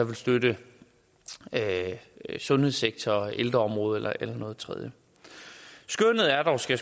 vil støtte sundhedssektoren ældreområdet eller noget tredje skønnet er dog skal